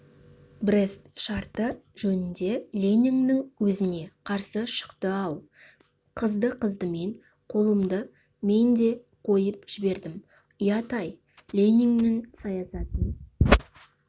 брест шарты жөнінде лениннің өзіне қарсы шықты-ау қызды-қыздымен қолымды мен де қойып жібердім ұят-ай лениннің саясатын